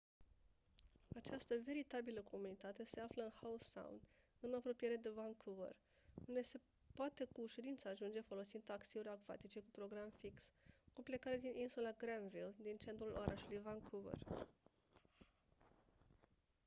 această veritabilă comunitate se află în howe sound în apropiere de vancouver unde se poate cu ușurință ajunge folosind taxiuri acvatice cu program fix cu plecare din insula granville din centrul orașului vancouver